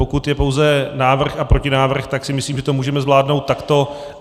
Pokud je pouze návrh a protinávrh, tak si myslím, že to můžeme zvládnout takto.